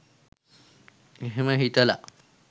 එහෙම හිතලා